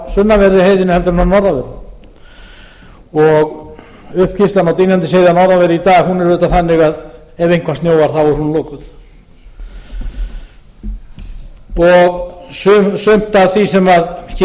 sunnanverðri heiðinni en að norðanverðu og uppkeyrslan á dynjandisheiði að norðanverðu í dag er auðvitað þannig að ef eitthvað snjóar er hún lokuð sumt af því sem hér er